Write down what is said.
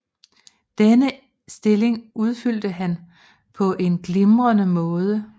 Denne stilling udfyldte han på en glimrende måde